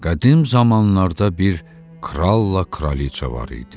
Qədim zamanlarda bir kralla kraliqa var idi.